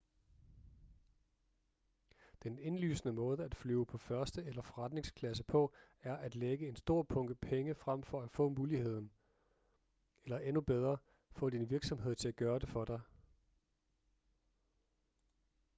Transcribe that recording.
den indlysende måde at flyve på første eller forretningsklasse på er at lægge en stor bunke penge frem for at få muligheden eller endnu bedre få din virksomhed til at gøre det for dig